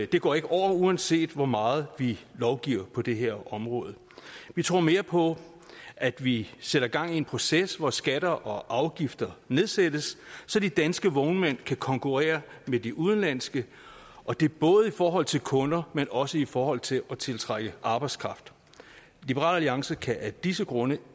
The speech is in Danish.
det går ikke over uanset hvor meget vi lovgiver på det her område vi tror mere på at vi sætter gang i en proces hvor skatter og afgifter nedsættes så de danske vognmænd kan konkurrere med de udenlandske og det er både i forhold til kunder men også i forhold til at tiltrække arbejdskraft liberal alliance kan af disse grunde